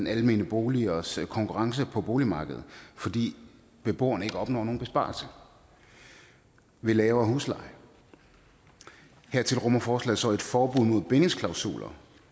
almene boligers konkurrence på boligmarkedet fordi beboerne ikke opnår nogen besparelse ved lavere husleje hertil rummer forslaget så et forbud mod bindingsklausuler